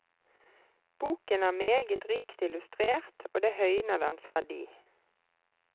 Boken er meget rikt illustrert og det høyner dens verdi.